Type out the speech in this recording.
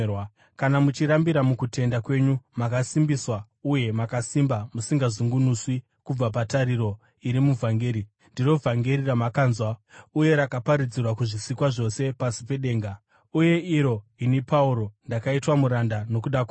kana muchirambira mukutenda kwenyu, makasimbiswa uye makasimba, musingazungunuswi kubva patariro iri muvhangeri. Ndiro vhangeri ramakanzwa uye rakaparidzirwa kuzvisikwa zvose pasi pedenga, uye iro ini, Pauro, ndakaitwa muranda nokuda kwaro.